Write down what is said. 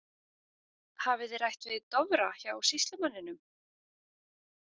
Hafið þið rætt við Dofra hjá sýslumanninum?